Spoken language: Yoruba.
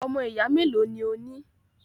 Ọmọ ìyá melo ni o ní?